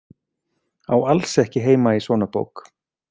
Á alls ekki heima í svona bók.